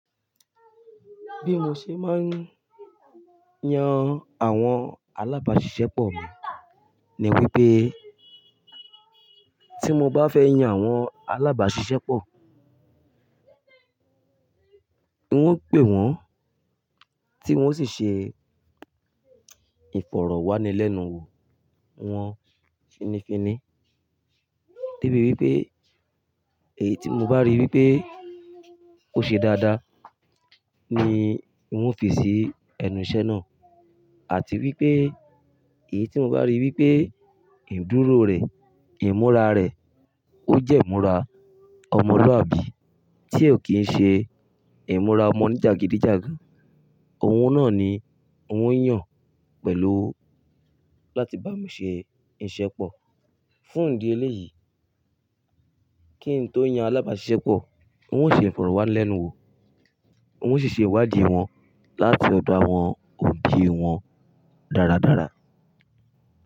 Bí mo ṣe máa ń yan àwọn alábàáṣiṣẹ́ pọ̀ mi ni wípé tí mo bá fẹ́ yan àwọn alábàáṣiṣẹ́ pọ̀, wọn ó pè wọ́n tí wọn ó sì ṣe ìfọ̀rọ̀wánilẹ́nuwò wọn finifini. Debi wípé èyí tí mo bá rí wípé ó ṣe dáadáa ni wọn ó fi sí ẹnu iṣẹ́ náà àti wípé èyí tí mo bá rí wípé ìdúró rẹ̀, ìmúra rẹ̀ ó jẹ́ ìmúra ọmọlúàbí tí ó kì ń ṣe ìmúra ọmọ oní jagidijagan, òun náà ni wọn ó yàn pẹ̀lú láti bá mi ṣe iṣẹ́ pọ̀. Fún ìdí eléyìí, kí n tó yan alábàáṣiṣẹ́ pọ̀, wọn ó ṣe ìfọ̀rọ̀wánilẹ́nuwò, wọn ó sì ṣe ìwádìí wọn láti ọdo àwọn, òbí wọn dáradára.